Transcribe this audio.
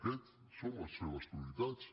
aquestes són les seves prioritats